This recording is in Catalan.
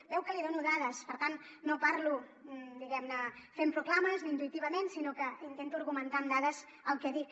veu que li dono dades per tant no parlo diguem ne fent proclames o intuïtivament sinó que intento argumentar amb dades el que dic